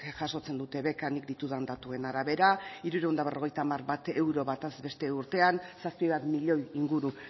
jasotzen dute beka nik ditudan datuen arabera hirurehun eta berrogeita hamar euro bataz beste urtean zazpi bat milioi inguru